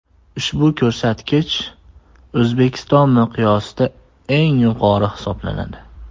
Ushbu ko‘rsatkich O‘zbekiston miqyosida eng yuqori hisoblanadi.